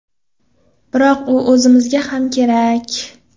Biroq u o‘zimizga ham kerak.